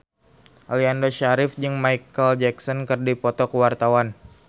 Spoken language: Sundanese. Aliando Syarif jeung Micheal Jackson keur dipoto ku wartawan